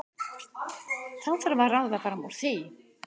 Þá þarf að ráða fram úr því.